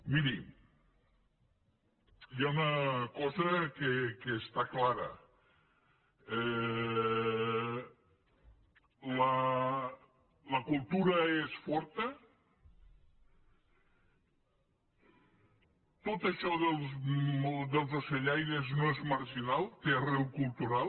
miri hi ha una cosa que està clara la cultura és forta tot això dels ocellaires no és marginal té arrel cultural